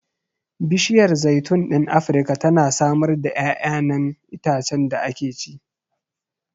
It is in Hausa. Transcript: Bishiyar zaitun ɗin Afirka tana samar da ƴaƴanan itacen da ake ci.